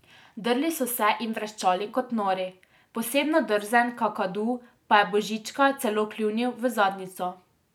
Drli so se in vreščali kot nori, posebno drzen kakadu pa je Božička celo kljunil v zadnjico.